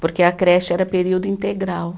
Porque a creche era período integral.